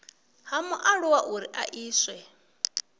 ha mualuwa uri a iswe